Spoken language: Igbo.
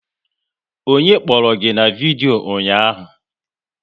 Onye kpọrọ gị na vidyo ụnyaahụ?